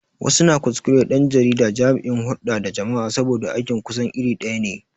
Wasu na kuskure ɗan jarida da jami'in hurɗa da jama'a saboda aikin su kusan iri ɗaya ne.